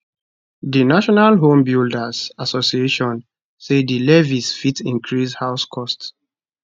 di national homebuilders association say di levies fit increase house cost